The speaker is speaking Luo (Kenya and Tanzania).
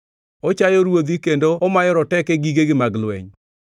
Ochayo ruodhi kendo omayo roteke gigegi mag lweny.